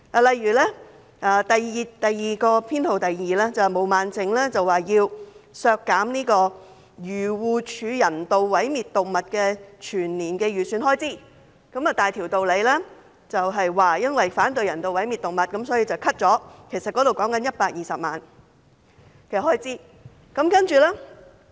例如修正案編號 2， 毛孟靜議員要求削減漁農自然護理署人道毀滅動物的全年預算開支，大條道理地說因為反對人道毀滅動物，所以要削減有關預算開支120萬元。